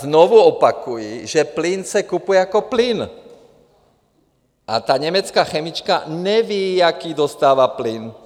Znovu opakuji, že plyn se kupuje jako plyn a ta německá chemička neví, jaký dostává plyn.